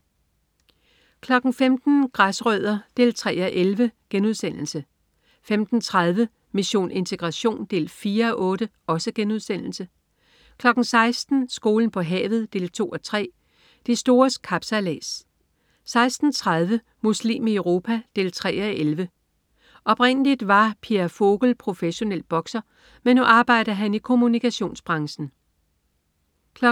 15.00 Græsrødder 3:11* 15.30 Mission integration 4:8* 16.00 Skolen på havet 2:3. De stores kapsejlads 16.30 Muslim i Europa 3:11. Oprindeligt var Pierre Vogel professionel bokser, men nu arbejder han i kommunikationsbranchen 17.00